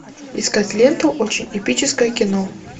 искать ленту очень эпическое кино